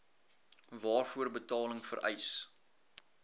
waarvoor betaling vereis